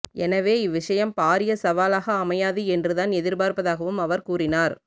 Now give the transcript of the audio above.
எனவே இவ்விடயம் பாரிய சவாலாக அமையாது என்று தான் எதிர்பார்ப்பதாகவும் அவர் கூறினார்